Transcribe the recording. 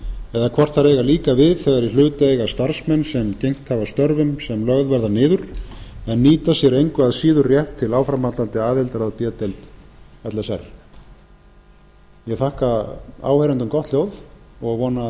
eða hvort þær eiga líka við þegar í hlut eiga starfsmenn sem bent hafa störfum sem lögð verða niður en nýta sér engu að síður rétt til áframhaldandi aðildar að b deild l s r ég þakka áheyrendum gott hljóð og vona að